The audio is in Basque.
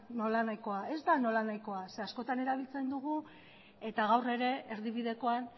nolanahikoa zeren eta askotan erabiltzen dugu eta gaur ere erdibidekoan